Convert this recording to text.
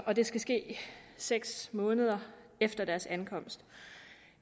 og det skal ske seks måneder efter deres ankomst